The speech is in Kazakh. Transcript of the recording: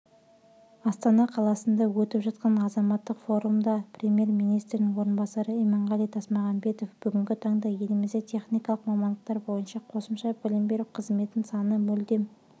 астана қаласында өтіп жатқан азаматтық форумда премьер-министрдің орынбасары иманғали тасмағамбетовбүгінгі таңда елімізде техникалық мамандықтар бойынша қосымша білім беру қызметіның саны мүлдем